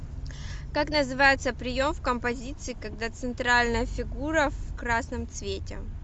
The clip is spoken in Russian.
как называется прием в композиции когда центральная фигура в красном цвете